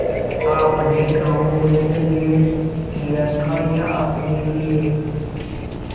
आपने गॉँव मेरे लिये लिया था या अपने लिए